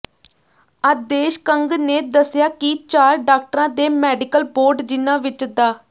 ਆਦੇਸ਼ ਕੰਗ ਨੇ ਦੱਸਿਆ ਕਿ ਚਾਰ ਡਾਕਟਰਾਂ ਦੇ ਮੈਡੀਕਲ ਬੋਰਡ ਜਿਨ੍ਹਾਂ ਵਿੱਚ ਡਾ